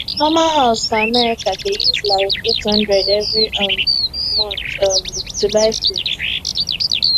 normal house for america dey use like 800 every um month um to buy food